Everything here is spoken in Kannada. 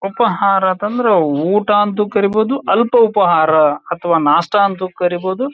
ಉಪಹಾರ ಅಂತಂದ್ರೆ ಊಟ ಅಂತಾನೂ ಕರೀಬಹುದು ಅಲ್ಪ ಉಪಹಾರ ಅಥವಾ ನಾಷ್ಟಾ ಅಂತನು ಕರೀಬಹುದು.